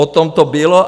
O tom to bylo.